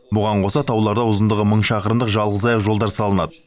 бұған қоса тауларда ұзындығы мың шақырымдық жалғызаяқ жолдар салынады